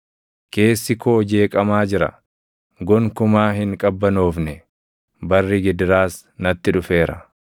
Keessi koo jeeqamaa jira; gonkumaa hin qabbanoofne; barri gidiraas natti dhufeera.